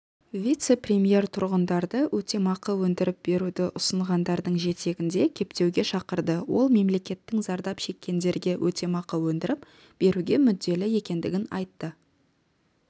вице-премьер тұрғындарды өтемақы өндіріп беруді ұсынғандардың жетегінде кетпеуге шақырды ол мемлекеттің зардап шеккендерге өтемақы өндіріп беруге мүдделі екендігін айтты